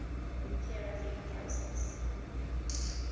peer review process